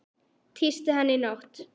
Tísti hann í nótt?